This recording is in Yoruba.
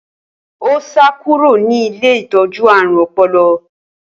Ó sá kúrò ní ilé ìtọ́jú ààrùn ọpọlọ.